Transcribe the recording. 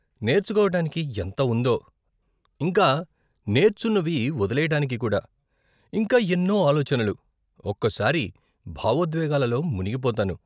నేర్చుకోవటానికి ఎంత ఉందో, ఇంకా నేర్చున్నవి వదిలేయటానికి కూడా, ఇంకా ఎన్నో ఆలోచనలు, ఒక్కోసారి భావోద్వేగాలలో మునిగిపోతాను.